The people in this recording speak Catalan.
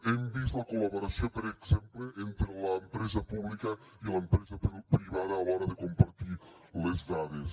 hem vist la col·laboració per exemple entre l’empresa pública i l’empresa privada a l’hora de compartir les dades